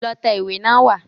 Lọ tẹ ìwé náà wá.